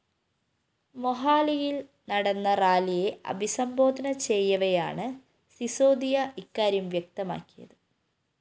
മൊഹാലിയില്‍ നടന്ന റാലിയെ അഭിസംബോധന ചെയ്യവെയാണ് സിസോദിയ ഇക്കാര്യം വ്യക്തമാക്കിയത്